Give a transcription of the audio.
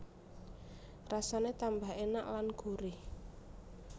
Rasane tambah enak lan gurih